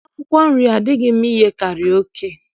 Akwụkwọ nri adịghị mma iyekarị oke